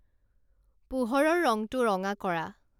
পোহৰৰ ৰংটো ৰঙা কৰা